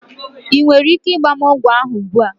Ị nwere ike ịgba m ogwu ahụ ugbu a?